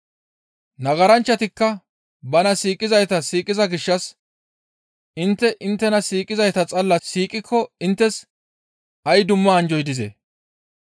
«Nagaranchchatikka bana siiqizayta siiqiza gishshas intte inttena siiqizayta xalla siiqikko inttes ay dumma anjjoy dizee?